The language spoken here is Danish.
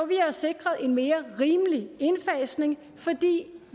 vi har sikret en mere rimelig indfasning fordi